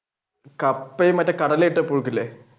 കപ്പയും മറ്റേ കടല ഇട്ട പുഴുക്ക് ഇല്ലേ?